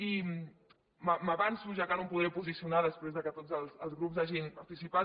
i m’avanço ja que no em podré posicionar després que tots els grups hagin participat